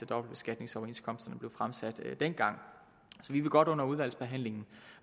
dobbeltbeskatningsoverenskomsten blev fremsat dengang så vi vil godt under udvalgsbehandlingen